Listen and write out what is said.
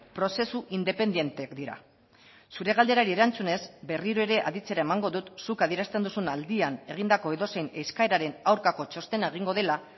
prozesu independenteak dira zure galderari erantzunez berriro ere aditzera emango dut zuk adierazten duzun aldian egindako edozein eskaeraren aurkako txostena egingo dela